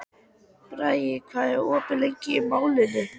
Bragi, hvað er opið lengi í Málinu?